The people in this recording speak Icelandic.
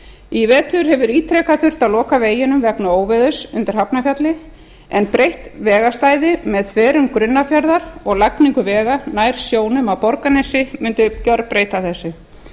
í vetur hefur ítrekað þurft að loka veginum vegna óveðurs undir hafnarfjalli en breytt vegarstæði með þverun grunnafjarðar og lagningu vegar nær sjónum að borgarnesi mundi gerbreyta þessu